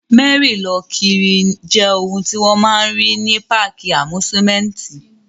Mẹ́rí-lọ-kiri jẹ́ ohun tí wọ́n máa n rí ní páàkì àmúsúmẹ́úntì